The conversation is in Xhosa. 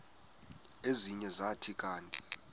ezinye zathi kanti